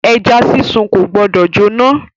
Ẹja sísun ko gbọdọ jóná.